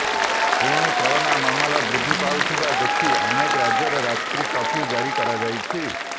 ପୁଣି କରୋନା ମାମଲା ବୃଦ୍ଧି ପାଉଥିବା ଦେଖି ଅନେକ ରାଜ୍ୟରେ ରାତ୍ରି କର୍ଫ୍ୟୁ ଜାରି କରାଯାଇଛି